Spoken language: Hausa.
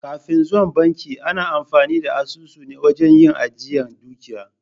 Kafin zuwan banki ana amfani da asusu ne wajen yin ajiyar dukiya.